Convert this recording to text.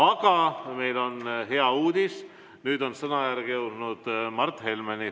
Aga meil on hea uudis, nüüd on sõnajärg jõudnud Mart Helmeni.